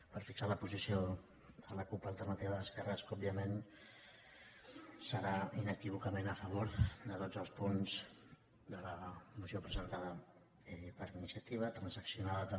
per fixar la posició de la cup alternativa d’esquerres que òbviament serà inequívocament a favor de tots els punts de la moció presentada per iniciativa transaccionada també